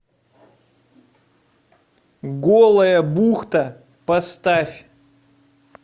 голая бухта поставь